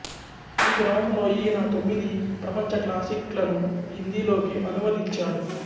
ఈ క్రమంలో ఈయన తొమ్మిది ప్రపంచ క్లాసిక్లను హిందీలోకి అనువదించాడు